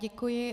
Děkuji.